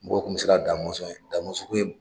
Mɔgɔw tun bɛ sira Da Mɔnsɔn ɲɛ, Da Mɔnsɔn tun ye